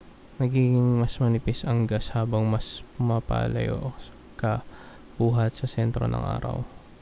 nagiging mas manipis ang gas habang mas pumapalayo ka buhat sa sentro ng araw